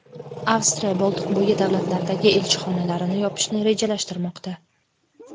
Avstriya Boltiqbo‘yi davlatlaridagi elchixonalarini yopishni rejalashtirmoqda.